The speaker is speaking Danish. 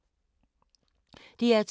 DR2